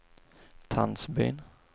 Tandsbyn